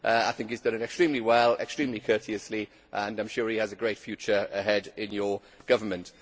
I think he has done it extremely well, extremely courteously, and I am sure he has a great future ahead in your government.